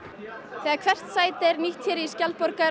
þegar hvert sæti er nýtt hér í